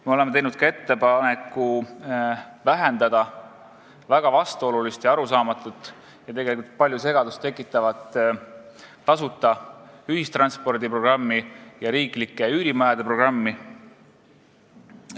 Me oleme teinud ettepaneku vähendada väga vastuolulist, arusaamatut ja tegelikult palju segadust tekitavat tasuta ühistranspordi programmi ja riiklike üürimajade programmi.